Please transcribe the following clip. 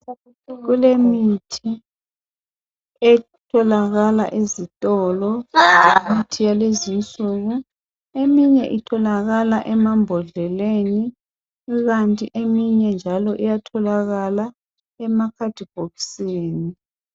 Kulemithi etholakala ezitolo .Imithi yalezi nsuku .Eminye itholakala emambodleleni. Kukanti eminye njalo iyatholakala emakhadibhokisini .